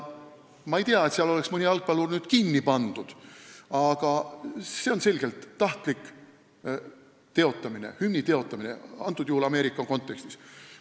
Ma ei tea, et seal oleks mõni jalgpallur kinni pandud, aga see on selgelt tahtlik hümni teotamine, praegusel juhul Ameerika kontekstis.